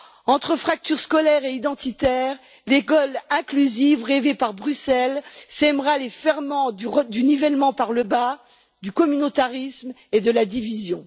Entre fracture scolaire et identitaire, l'école inclusive rêvée par Bruxelles sèmera les ferments du nivellement par le bas, du communautarisme et de la division.